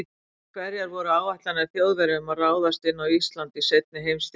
Hverjar voru áætlanir Þjóðverja um að ráðast inn í Ísland í seinni heimsstyrjöldinni?